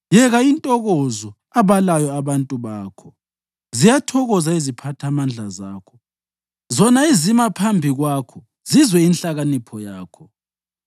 Yeka intokozo abalayo abantu bakho! Ziyathokoza iziphathamandla zakho, zona ezima phambi kwakho zizwe inhlakanipho yakho!